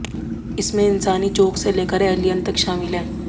इसमें इंसानी चूक से लेकर एलियन तक शामिल हैं